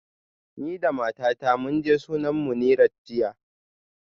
Ni da matata mun je sunan Munirat jiya